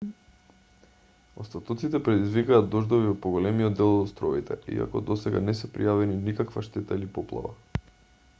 остатоците предизвикаа дождови во поголемиот дел од островите иако досега не се пријавени никаква штета или поплава